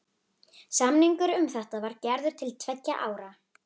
Samningur um þetta var gerður til tveggja ára.